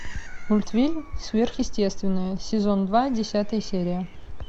мультфильм сверхъестественное сезон два десятая серия